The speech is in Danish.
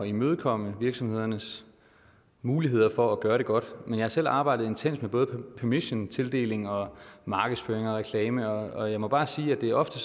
imødekomme virksomhedernes muligheder for at gøre det godt men jeg har selv arbejdet intenst med både permission tildeling og markedsføring og reklame og jeg må bare sige at det ofte